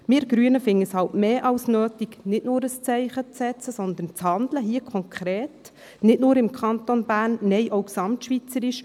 Wir Grüne erachten es für mehr als notwendig, nicht nur ein Zeichen zu setzen, sondern konkret zu handeln – nicht nur im Kanton Bern, nein, auch gesamtschweizerisch.